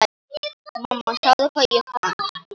Mamma sjáðu hvað ég fann!